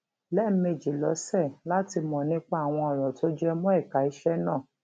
lẹẹmejì lọsẹ láti mọ nípa àwọn ọrọ tó jẹ mọ ẹka iṣẹ náà